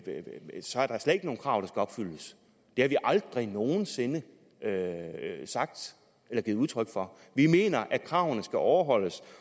nogen krav der skal opfyldes det har vi aldrig nogen sinde sagt eller givet udtryk for vi mener at kravene skal overholdes